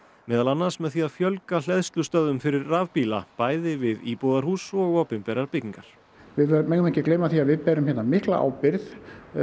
meðal annars með því að fjölga hleðslustöðvum fyrir rafbíla bæði við íbúðarhús og opinberar byggingar við megum ekki gleyma því að við berum mikla ábyrgð